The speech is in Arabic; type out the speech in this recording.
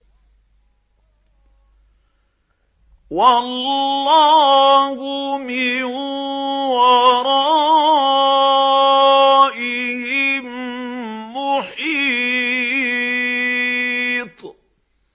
وَاللَّهُ مِن وَرَائِهِم مُّحِيطٌ